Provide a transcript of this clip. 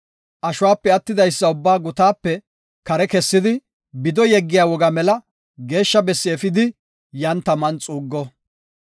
ashuwape attidaysa ubbaa gutaape kare kessidi bido yeggiya woga mela geeshsha bessi efidi yan taman xuuggo.